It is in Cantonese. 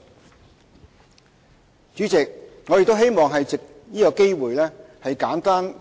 代理主席，我亦希望藉此機會，簡述